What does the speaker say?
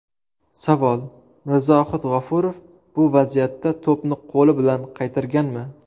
Savol: Mirzohid G‘ofurov bu vaziyatda to‘pni qo‘li bilan qaytarganmi?